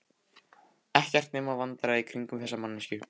Ekkert nema vandræði í kringum þessa manneskju.